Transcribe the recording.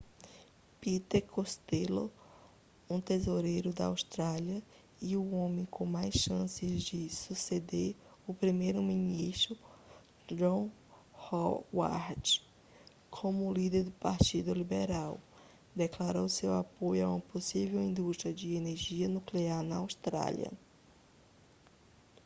peter costello um tesoureiro da austrália e o homem com mais chance de suceder o primeiro-ministro john howard como líder do partido liberal declarou seu apoio a uma possível indústria de energia nuclear na austrália